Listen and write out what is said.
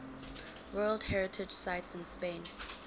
world heritage sites in spain